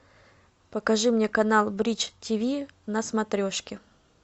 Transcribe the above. покажи мне канал бридж тиви на смотрешке